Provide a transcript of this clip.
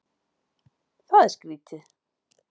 Það er skrýtið.